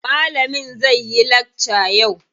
Malamin zai yi lakca yau.